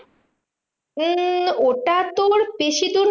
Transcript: উম ওটা তোর বেশি দূর না